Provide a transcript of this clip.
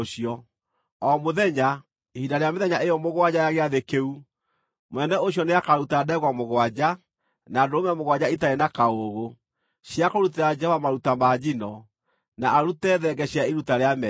O mũthenya, ihinda rĩa mĩthenya ĩyo mũgwanja ya Gĩathĩ kĩu, mũnene ũcio nĩakaruta ndegwa mũgwanja, na ndũrũme mũgwanja itarĩ na kaũũgũ, cia kũrutĩra Jehova maruta ma njino, na arute thenge cia iruta rĩa mehia.